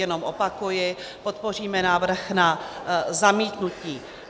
Jenom opakuji, podpoříme návrh na zamítnutí.